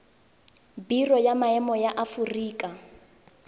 biro ya maemo ya aforika